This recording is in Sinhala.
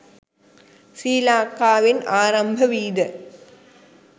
ශ්‍රී ලංකාවෙන් ආරම්භවීද